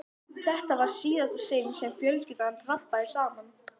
Þetta var í síðasta sinn sem fjölskyldan rabbaði saman.